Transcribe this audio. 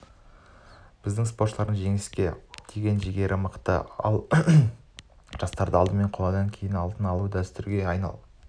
біздің спортшылардың жеңіске деген жігері мықты ал сенде жарыстарда алдымен қола кейін алтын алу дәстүрге